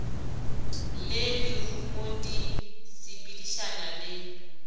le lerumu di sepedišana le